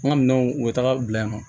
An ka minɛnw u bɛ taga bila yan nɔ